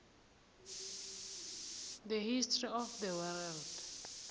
the history of the world